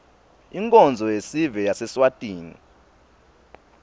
inkonzo yesive yaseswatini